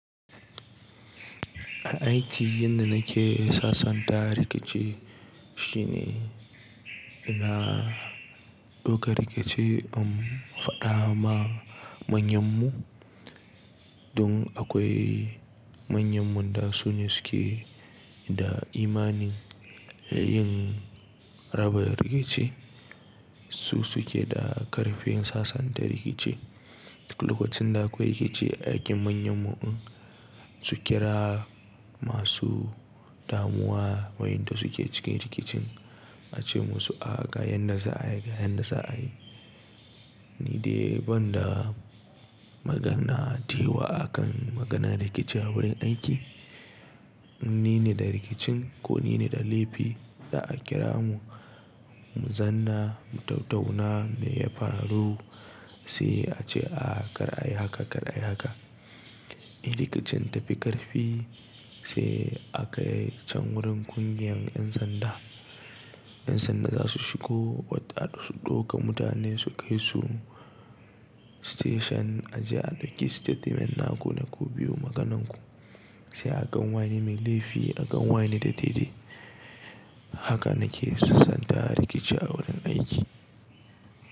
Aiki yanda nake sassanta rikici shine ina ɗauka rikici in faɗa ma manyan mu. Dun akwai manyan mun da su ne suke da imani yin raba rikici. Su suke da ƙarfin sassanta rikici. Lokacin da akwai rikici a aikin manyan mu in su kira masu damuwa wayanda suke cike rikicin ace musu a ga yanda za a yi, ga yanda za a yi. Ni dai banda magana tewa akan maganan rikici a wurin aiki, ni ne da rikicin ko ni ne da laifi za'a kira mu, mu zanna, mu tattauna me ya faru sai a ce a kar a yi haka, kar a yi haka. In rikicin ta fi ƙarfi sai aka yi can wurin ƙungiyar 'yan sanda. 'Yan sanda za su shigo wata su ɗauka mutane su kai su station a ji a ɗauki statement na ku na ku biyu maganan ku. Sai a gan wayene mai laifi, a gan wayene da daidai. Haka nake sassanta rikici a wurin aiki.